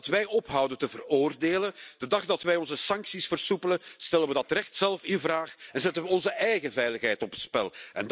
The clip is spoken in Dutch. De dag dat wij ophouden te veroordelen, de dag dat wij onze sancties versoepelen, stellen we dat recht zelf in vraag en zetten we onze eigen veiligheid op het spel.